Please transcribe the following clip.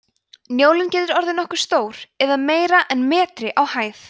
njólinn getur orðið nokkuð stór eða meira en metri á hæð